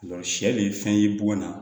sɛ nin fɛn ye bɔgɔ na